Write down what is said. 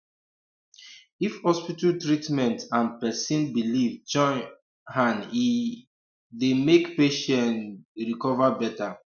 if hospital treatment and person belief join um hand e um dey make patient um recover better